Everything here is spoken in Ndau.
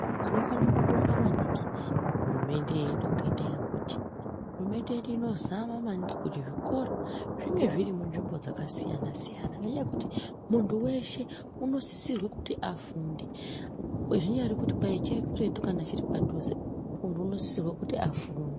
Tinofanokubonga maningi hurumende yedu ngendaa yekuti hurumende yedu inozama maningi kuti zvikora zvinge zviri munzvimbo dzakasiyana siyana ngenyaya kuti muntu weshe unosisirwe kuti afunde zvinyari kuti kwai chiri kuretu kana kuti chiri padhuze muntu unosisirwe kuti afunde.